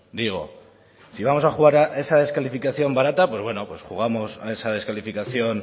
digo si vamos a jugar a esa descalificación barata pues bueno pues jugamos a esa descalificación